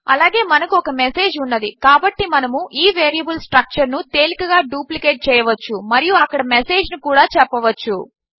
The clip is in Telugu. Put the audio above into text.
అలాగే మనకు ఒక మెసేజ్ ఉన్నది కాబట్టి మనము ఈ వేరియబుల్ స్ట్రక్చర్ ను తేలికగా డుప్లికేట్ చేయవచ్చు మరియు అక్కడ మెసేజ్ ను కూడా చెప్పవచ్చు